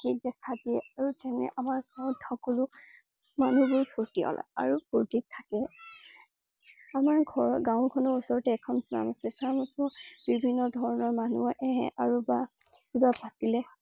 দেখা দিয়ে আৰু যেনে আমাৰ ঘৰত সকলো মানুহবোৰ ফুৰ্তিয়াল আৰু ফুৰ্তিত থাকে । আমাৰ ঘৰৰ গাওঁ খনৰ ওচৰতে এখন farm আছে। farm খনত বিভিন্ন ধৰণৰ মানুহ আহে আৰু বা কিবা থাকিলে